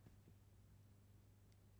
Blædel, Sara: Grønt støv Punktbog 104055